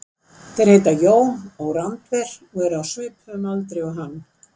Þeir heita Jón og Randver og eru á svipuðum aldri og hann.